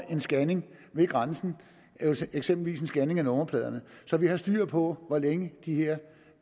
en scanning ved grænsen eksempelvis en scanning af nummerplader så vi har styr på hvor længe de her